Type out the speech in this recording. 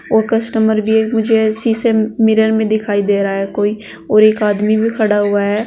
और कस्टमर भी मुझे शीशे मिरर में दिखाई दे रहा है कोई और एक आदमी भी खड़ा हुआ है।